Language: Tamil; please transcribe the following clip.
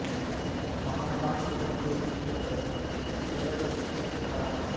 மனம் தான் பிறப்பு இறப்பு என்ற பேத புத்திக்கு காரணம்